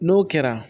N'o kɛra